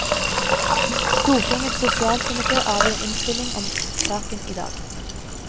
Stortingets sosialkomité avgir innstilling om saken i dag.